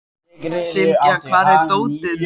Sylgja, hvar er dótið mitt?